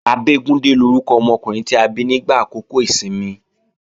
Abégúndé lórúkọ ọmọkùnrin ta bí nígbà àkókò ìsinmi